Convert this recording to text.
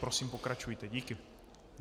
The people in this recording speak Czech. Prosím, pokračujte, díky.